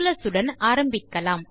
calculus உடன் ஆரம்பிக்கலாம்